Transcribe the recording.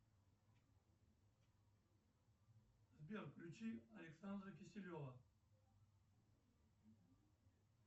сбер включи александра киселева